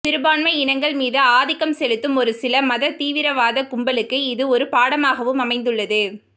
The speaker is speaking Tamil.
சிறுபான்மை இனங்கள் மீது ஆதிக்கம் செலுத்தும் ஒரு சில மததீவிரவாத கும்பலுக்கு இது ஒரு பாடமாகவும் அமைந்துள்ளது